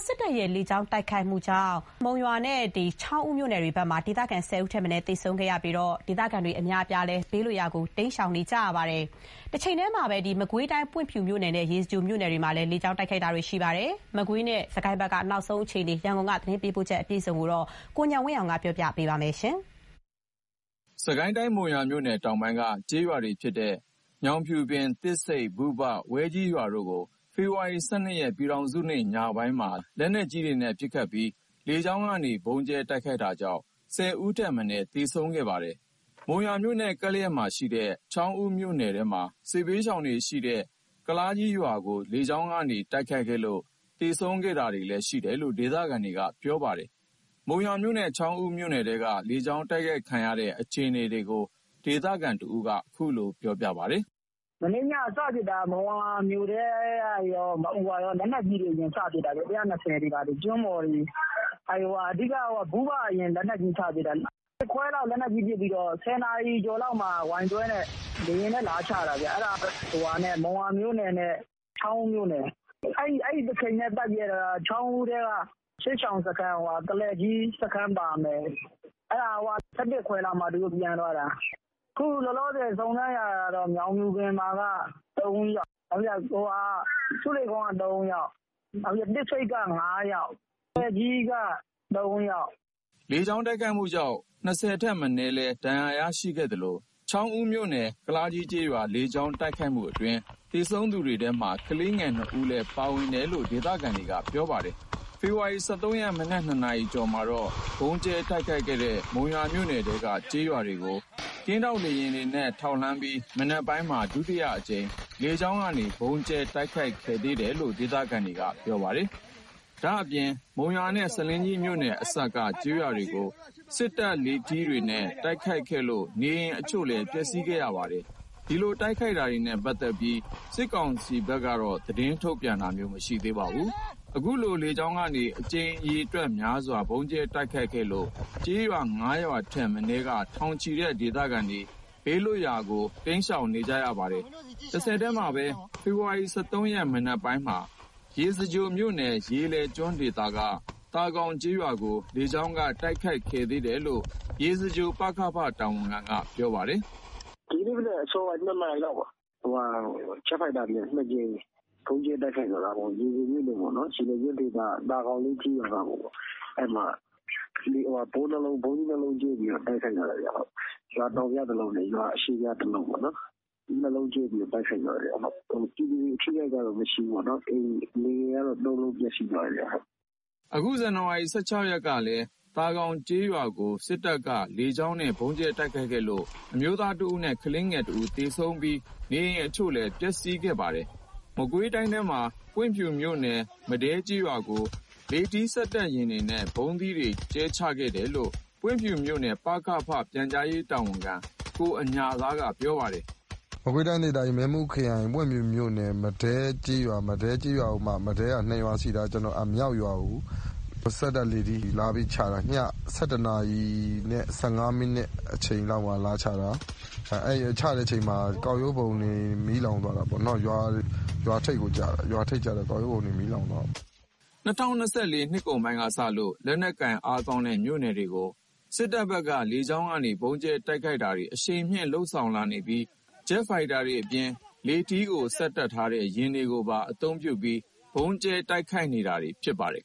စစ်တပ်ရဲ့လေကြောင်းတိုက်ခိုက်မှုကြောင့် မုံရွာမြို့နဲ့ ချောင်းဦး မြို့နယ်ထဲမှာ ဒေသခံ ၁၀ ဦးထက်မနည်း သေဆုံးခဲ့ပြီး ဒေသခံတွေ ဘေးလွတ်ရာ တိမ်းရှောင်နေရပါတယ်။ မကွေးတိုင်း ပွင့်ဖြူမြို့နယ်နဲ့ ရေစကြိုမြို့နယ်တို့မှာလည်း လေကြောင်းတိုက်ခိုက်တာတွေ ရှိခဲ့ပါတယ်။ စစ်တပ်ရဲ့ လေကြောင်းတိုက်ခိုက်မှု အခြေအနေ ရန်ကုန်ကပေးပို့လာတဲ့ သတင်း ဖြစ်ပါတယ်။ စစ်ကိုင်းတိုင်း မုံရွာမြို့နယ် တောင်ပိုင်းက ကျေးရွာတွေဖြစ်တဲ့ ညောင်ဖြူပင် ၊ သစ်ဆိမ့် ၊ ဘုဘ ၊ ဝဲကြီး ရွာတို့ကို ဖေဖော်ဝါရီ ၁၂ ရက် ပြည်ထောင်စုနေ့ ညပိုင်းမှာ လက်နက်ကြီးတွေနဲ့ ပစ်ခတ်ပြီး လေကြောင်းကနေ ဗုံးကြဲတိုက်ခိုက်တာကြောင့် ၁၀ ဦးထက် မနည်း သေဆုံးခဲ့ပါတယ်။ မုံရွာမြို့နဲ့ ကပ်လျက်မှာရှိနေတဲ့ ချောင်းဦးမြို့နယ်ထဲမှာ စစ်ဘေးရှောင်တွေရှိတဲ့ ကုလားကြီးရွာကို လေကြောင်းကနေ တိုက်ခိုက်ခဲ့လို့ သေဆုံးတာတွေ ရှိခဲ့တယ်လို့ ဒေသခံတွေက ပြောပါတယ်။ မုံရွာမြို့နဲ့ ချောင်းဦး မြို့နယ်ထဲက လေကြောင်းတိုက်ခိုက်ခံရတဲ့ အခြေအနေတွေကို ဒေသခံတဦးက အခုလို ပြောပါတယ်။ "မနေ့ညက စဖြစ်တာ မုံရွာမြို့ထဲကနေ လက်နက်ကြီးတွေနဲ့ စပစ်တာ။ ကျွန်းပေါ်တွေ ၊ အဓိက ဘုဘကို အရင် လက်နက်ကြီး စပစ်တာ။ လက်နက်ကြီးပစ်ပြီးတော့ ၈ ခွဲလောက် လက်နက်ကြီးပစ်ပြီးတော့ ၁၀ နာရီ ကျော်လောက်မှာ Y12 နဲ့ လေယာဉ်နဲ့ လာချတာခင်ဗျ။ အဲ့ဒါက မုံရွာမြို့နယ်နဲ့ ချောင်းဦးမြို့နယ် အဲဒီတချိန်တည်း ပတ်ပစ်တာ ချောင်းဦးမြို့နယ်ထဲက ကုလားကြီး စခန်းပါမယ်။ အဲ့ဒါ ၁၁ ခွဲလောက်မှ သူတို့ ပြန်သွားတာ။ အခု လောလောဆယ် စုံစမ်းရတာက မုံရွာ ညောင်ဖြူပင်မှာက ၃ ယောက် ဆူးလေကုန်းက ၃ ယောက် နောက်ပြီး သစ်ဆိမ့်က ၅ ယောက် ကုလားကြီးက ၃ယောက်။ " လေကြောင်း တိုက်ခိုက်မှုကြောင့် ၂၀ ထက် မနည်းလည်း ဒဏ်ရာရရှိခဲ့သလို ချောင်းဦးမြို့နယ် ကုလားကြီးကျေးရွာ လေကြောင်းတိုက်ခိုက်မှုအတွင်း သေဆုံးသူတွေထဲ ကလေးငယ် ၂ ဦး ပါဝင်တယ်လို့လည်း ဒေသခံတွေက ပြောပါတယ်။ ဖေဖော်ဝါရီ ၁၃ ရက် မနက် ၂ နာရီကျော်မှာတော့ ဗုံးကြဲတိုက်ခိုက်ခဲ့တဲ့ မုံရွာမြို့နယ်ထဲက ကျေးရွာတွေကို ကင်းထောက်လေယာဉ်တွေနဲ့ ထောက်လှမ်းပြီး မနက်ပိုင်းမှာ ဒုတိယအကြိမ် လေကြောင်းကနေ ဗုံးကြဲတိုက်ခိုက်ခဲ့သေးတယ်လို့ ဒေသခံတွေက ပြောပါတယ်။ ဒါ့အပြင် မုံရွာနဲ့ ဆားလင်းကြီးမြို့နယ်အစပ်က ကျေးရွာတွေကို စက်တပ် လေထီးတွေနဲ့ တိုက်ခိုက်ခဲ့လို့ နေအိမ်အချို့လည်း ပျက်စီးခဲ့ပါတယ်။ ဒီတိုက်ခိုက်တာနဲ့ ပတ်သက်ပြီး စစ်ကောင်စီ သတင်းထုတ်ပြန်ရေးအဖွဲ့က သတင်းထုတ်ပြန်တာ မရှိသေးပါဘူး။ အခုလို လေကြောင်းကနေ အကြိမ်ရေများစွာ ဗုံးကြဲ တိုက်ခိုက်လို့ ကျေးရွာ ၅ ရွာထက်မနည်းက ထောင်နဲ့ချီတဲ့ ဒေသခံတွေ ဘေးလွတ်ရာနေရာတွေဆီ တိမ်းရှောင်နေရပါတယ်။ တဆက်တည်းမှာပဲ ဖေဖော်ဝါရီ ၁၃ ရက် မနက်ပိုင်းမှာ ရေစကြိုမြို့နယ် ရေလယ်ကျွန်းဒေသက သာဂေါင်ကျေးရွာကို လေကြောင်းက တိုက်ခိုက်ခဲ့သေးတယ်လို့ ရေစကြို ပကဖ တာဝန်ခံက ပြောပါတယ်။ "ဒီကနေ့ မနက် အစောပိုင်း ၂ နာရီလောက်မှာ ဂျက်ဖိုက်တာနဲ့ ၂ ကြိမ် ဗုံးကြဲ တိုက်ခိုက်သွားတာပေါ့။ ရေလယ်ကျွန်းဒေသ သာဂေါင်လေး ကျေးရွာကိုပေါ့။ အဲ့မှာ ဗုံးသီး ၂ လုံးကြဲပြီးတော့ တိုက်ခိုက်တာပါခင်ဗျ။ ရွာတောင်ဖျား တလုံးနဲ့ ရွာအရှေ့ဖျား တလုံး ၂ လုံးကြဲ တိုက်ခိုက်တာ ပြည်သူတွေ ထိခိုက်တာတော့ မရှိဘူးပေါ့နော်။ နေအိမ်ကတော့ ၃ လုံး ပျက်စီးသွားတယ်။" အခုနှစ် ဇန်နဝါရီ ၁၆ ရက်ကလည်း သာဂေါင်လေးကျေးရွာကို စစ်တပ်က လေယာဉ်နဲ့ ဗုံးကြဲတိုက်ခိုက်လို့ အမျိုးသားတဦးနဲ့ ကလေးငယ် တဦး သေဆုံးပြီး နေအိမ်အချို့လည်း ပျက်စီးခဲ့ပါသေးတယ်။ မကွေးတိုင်းထဲကပဲ ပွင့်ဖြူမြို့နယ် မဒဲကျေးရွာကို လေထီး စက်တပ်ယာဉ်တွေနဲ့ ဗုံးသီးတွေ ကြဲချတယ်လို့လည်း ပွင့်ဖြူမြို့နယ် ပကဖ ပြန်ကြားရေးတာဝန်ခံ ကိုအညာသားက ပြောပါတယ်။ "မကွေးတိုင်းဒေသကြီး မင်းဘူးခရိုင် ပွင့်ဖြူမြို့နယ် မဒဲကျေးရွာ။ မဒဲကျေးရွာကိုမှ မဒဲက ၂ ရွာ ရှိတာ မြောက်ရွာကို စက်တပ်လေထီးနဲ့ လာပြီးချတာ။ ည ၁၁ နာရီနဲ့ ၁၅ မိနစ် အချိန်လောက်မှာ လာချတာ။ ချတဲ့အချိန်မှာ ကောက်ရိုးပုံတွေ မီးလောင်သွားတာပေါ့နော်။ ရွာထိပ်ကျတာ ကောက်ရိုးပုံ မီးလောင်သွားတယ်။" ၂၀၂၄ နှစ်ကုန်ပိုင်းကစလို့ လက်နက်ကိုင်အားကောင်းတဲ့ မြို့တွေကို စစ်တပ်ဘက်က လေကြောင်းကနေ ဗုံးကြဲတိုက်ခိုက်တာကို အရှိန်မြှင့် လုပ်ဆောင်နေပြီး ဂျက်ဖိုက်တာတွေအပြင် လေထီးကို စက်တပ်ထားတဲ့ ယာဉ်တွေကိုပါ အသုံးပြုပြီး ဗုံးကြဲတိုက်ခိုက်နေတာလည်း ဖြစ်ပါတယ်